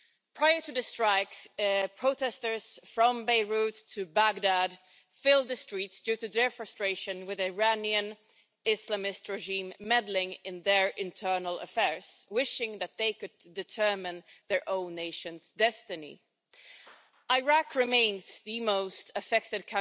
Prior to the strikes, protesters from Beirut to Baghdad filled the streets due to their frustration with the Iranian Islamist regime meddling in their internal affairs, wishing that they could determine their own nation's destiny. Iraq remains the country most affected